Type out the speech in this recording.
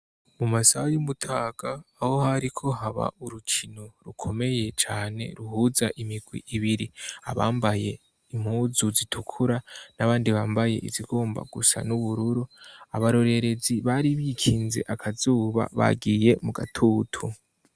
Mu masaha y'umutaga aho hariko haba urukino rukomeye cane ruhuza imigwi ibiri abambaye impuzu zitukura n'abandi bambaye izigomba gusa n'ubururu abarorerezi bari bikinze akazuba bagiye mu gatutu